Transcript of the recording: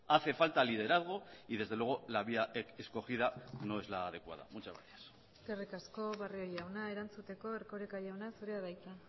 hace falta liderazgo y desde luego la vía escogida no es la adecuada muchas gracias eskerrik asko barrio jauna erantzuteko erkoreka jauna zurea da hitza